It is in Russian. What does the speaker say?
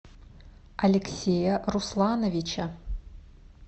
алексея руслановича